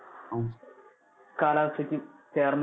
കാലാവസ്ഥയ്ക്ക് ചേർന്ന~